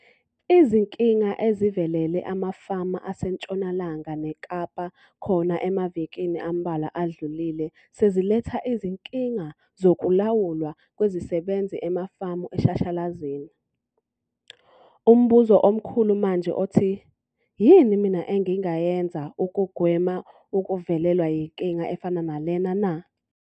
Izinkinga ezivelele amafama aseNtshonalanga neKapa khona emavikini ambalwa adlulile sezilethe izinkinga zokulawulwa kwezisebenzi emafamu eshashalazini. Umbuzo omkhulu manje othi "yini mina engingayenza ukugwema ukuvelelwa yinkinga efana nalena na?"